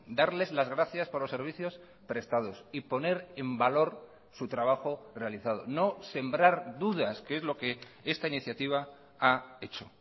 darles las gracias por los servicios prestados y poner en valor su trabajo realizado no sembrar dudas que es lo que esta iniciativa ha hecho